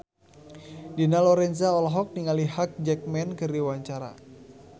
Dina Lorenza olohok ningali Hugh Jackman keur diwawancara